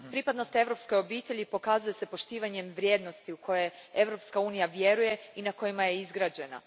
Pripadnost europskoj obitelji pokazuje se poštivanjem vrijednosti u koje Europska unija vjeruje i na kojima je izgrađena.